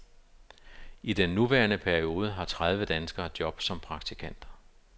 I den nuværende periode har tredive danskere jobs som praktikanter.